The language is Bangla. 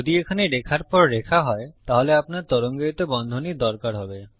যদি এখানে রেখার পর রেখা হয় তাহলে আপনার তরঙ্গায়িত বন্ধনীর দরকার হবে